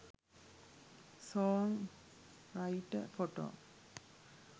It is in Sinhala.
song writer photo